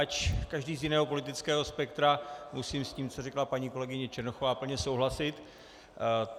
Ač každý z jiného politického spektra, musím s tím, co řekla paní kolegyně Černochová, plně souhlasit.